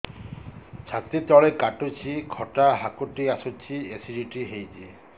ଛାତି ତଳେ କାଟୁଚି ଖଟା ହାକୁଟି ଆସୁଚି ଏସିଡିଟି ହେଇଚି